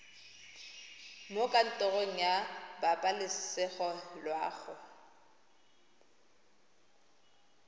mo kantorong ya pabalesego loago